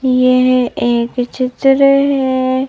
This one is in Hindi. यह एक चित्र है।